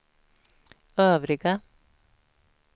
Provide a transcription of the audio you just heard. övriga